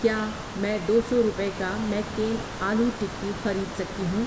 کیا میں دو سو روپے کا میک کین آلو ٹکی خرید سکتی ہوں؟